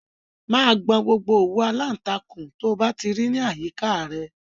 Máa gbọn gbogbo òwú aláǹtakûn tí o bá ti rí láyìíká à rẹ!